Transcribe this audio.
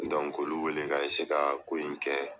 Dɔnkk'olu wele ka eseye ka ko in kɛ